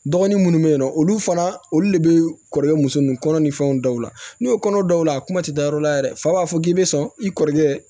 Dɔgɔnin munnu be yen nɔ olu fana olu le bee kɔrɔkɛ muso nun kɔnɔ ni fɛnw daw la n'u ye kɔnɔ dɔw la a kuma ti da yɔrɔ la yɛrɛ fa b'a fɔ k'i be sɔn i kɔrɔkɛ